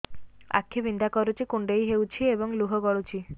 ଆଖି ବିନ୍ଧା କରୁଛି କୁଣ୍ଡେଇ ହେଉଛି ଏବଂ ଲୁହ ଗଳୁଛି